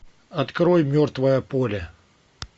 открой мертвое поле